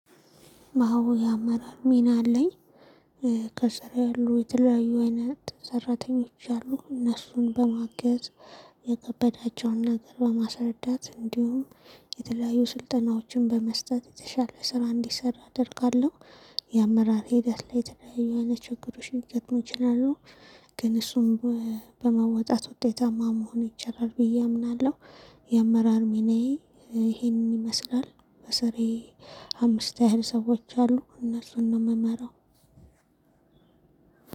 ማወያ አመራር ሚና አለኝ ከስር ያሉ የተለያዩ አይነት ሰራተኞች አሉ እነሱን በማገዝ የከበዳቸውን ነገር በማስረዳት እንዲሁም የተለያዩ ስልጠናዎችን በመስጠት የተሻለ ስራ እንዲሰራ አደርጋለሁ። የአመራር ሂደት ላይ የተለያዩ አይነት ችግሮችን ሊገጥሙ ይችላሉ። ከስር ያሉ የተለያዩ አይነት ሰራተኞች አሉ እነሱን በማገዝ የከበዳቸውን ነገር በማስረዳት እንዲሁም የተለያዩ ስልጠናዎችን በመስጠት የተሻለ ስራ እንዲሰራ አደርጋለሁ። የአመራር ሚናዬ ይሄንን ይመስላል። በስሬ አምስት ያህል ሰዎች አሉ እነሱን ነው ምመራው።